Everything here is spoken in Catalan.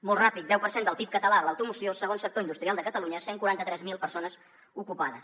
molt ràpid deu per cent del pib català de l’automoció segon sector industrial de catalunya cent i quaranta tres mil persones ocupades